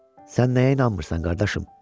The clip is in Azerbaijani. Sən nəyə inanmırsan, qardaşım?